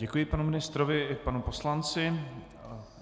Děkuji panu ministrovi i panu poslanci.